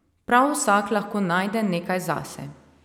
Prav vsak lahko najde nekaj zase.